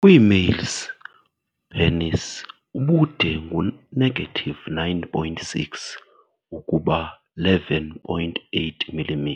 Kwi-males, penis ubude ngu negative 9.6 ukuba 11.8 mm.